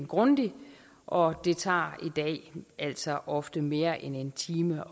grundigt og det tager altså i dag ofte mere end en time